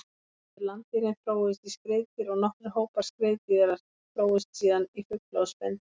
Fyrstu landdýrin þróuðust í skriðdýr og nokkrir hópar skriðdýra þróuðust síðan í fugla og spendýr.